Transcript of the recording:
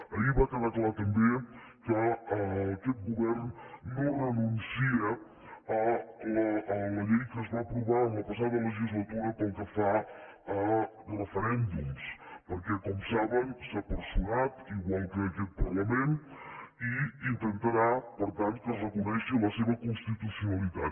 ahir va quedar clar també que aquest govern no renuncia a la llei que es va aprovar la passada legislatura pel que fa a referèndums perquè com saben s’ha personat igual que aquest parlament i intentarà per tant que es reconegui la seva constitucionalitat